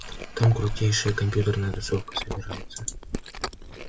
там крутейшая компьютерная тусовка собирается